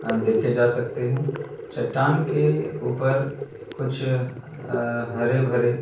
अ देखे जा सकते है। चट्टान के ऊपर कुछ अं हरे-भरे --